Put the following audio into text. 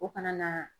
O kana na